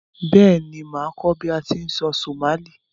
Béèni, màá kó bi a ti n sọ Somali